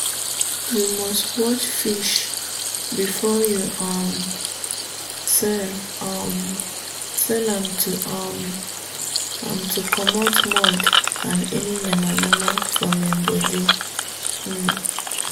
you must wash fish before you um sell um am—to um am—to commot mud and any yama - yama from im body. um